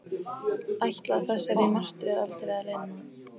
Ætlaði þessari martröð aldrei að linna?